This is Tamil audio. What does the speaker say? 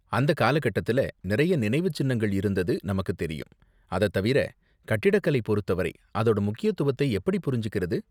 அந்த காலகட்டத்துல நிறைய நினைவு சின்னங்கள் இருந்தது நமக்கு தெரியும், அத தவிர, கட்டிடக்கலை பொறுத்த வரை அதோட முக்கியத்துவத்தை எப்படி புரிஞ்சிக்கறது?